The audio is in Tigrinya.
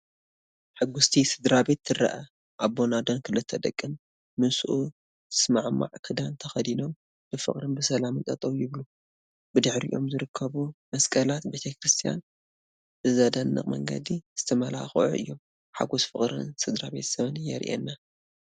ሕጉስቲ ስድራቤት ትረአ፣ ኣቦን ኣደን ክልተ ደቅን፡ ምስኡ ዝሰማማዕ ክዳን ተኸዲኖም፡ ብፍቕርን ብሰላምን ጠጠው ይብሉ። ብድሕሪኦም ዝርከቡ መስቀላት ቤተክርስትያን ብዘደንቕ መንገዲ ዝተመላኽዑ እዮም። ሓጎስ ፍቕርን ስድራቤትን የሪኤና።